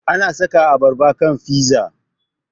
Ana saka abarba kan fiza